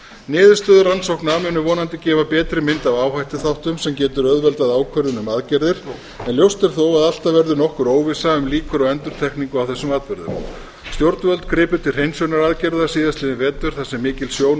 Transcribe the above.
niðurstöður rannsókna munu vonandi gefa betri mynd af áhættuþáttum sem getur auðveldað ákvörðun um aðgerðir en ljóst er þó að alltaf verður nokkur óvissa um líkur á endurtekningu á þess atburðum stjórnvöld gripu til hreinsunaraðgerða síðastliðinn vetur þar sem mikil sjón og